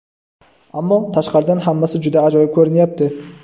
Ammo, tashqaridan hammasi juda ajoyib ko‘rinyapti..